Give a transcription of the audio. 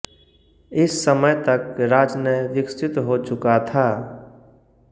इस समय तक राजनय विकसित हो चुका था